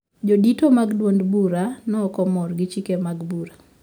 Jodito mag duond bura no okmor gi chike mag bura